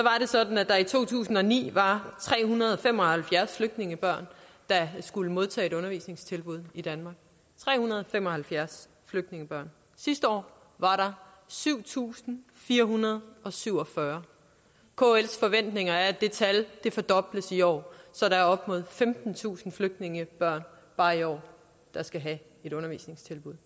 sådan at der i to tusind og ni var tre hundrede og fem og halvfjerds flygtningebørn der skulle modtage et undervisningstilbud i danmark tre hundrede og fem og halvfjerds flygtningebørn sidste år var der syv tusind fire hundrede og syv og fyrre kls forventninger er at det tal fordobles i år så der er op mod femtentusind flygtningebørn bare i år der skal have et undervisningstilbud